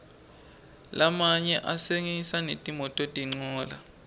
lamanye atsengisa netimototincola